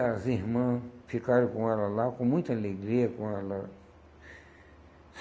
as irmãs ficaram com ela lá, com muita alegria com ela.